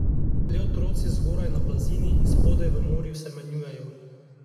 Le otroci zgoraj na blazini in spodaj v morju se menjujejo.